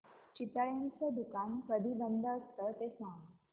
चितळेंचं दुकान कधी बंद असतं ते सांग